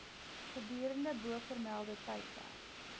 gedurende bovermelde tydperk